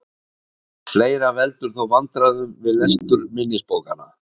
Fleira veldur þó vandkvæðum við lestur minnisbókanna.